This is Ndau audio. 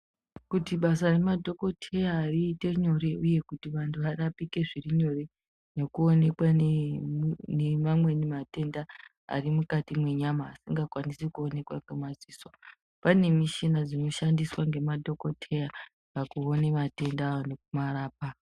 Kuti basa remadhokodheya riite nyore uye kuti vantu varapike zviri nyore nekuonekwa nemamweni matenda arimukati nwenyama asingakwanisi kuonekwa ngemadziso, pane mishina dzinoshandiswa nemadhokodheya pakuona matenda aya nekumarapa.